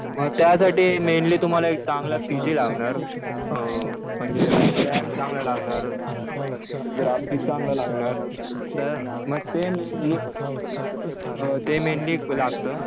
मग त्यासाठी मेनली तुम्हाला एक चांगला पीसी लागणार. म्हणजे रॅम चांगला लागणार. ग्राफिक चांगलं लागणार. तर मग सेम हे ते मेनली लागतं.